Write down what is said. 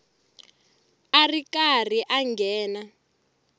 a ri karhi a nghena